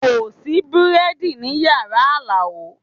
Kò sí bẹ́ẹ̀dì ní yàrá Alao